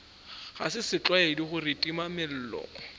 ga se setlwaedi gore timamello